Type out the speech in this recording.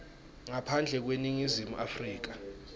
ngaphandle kweningizimu afrika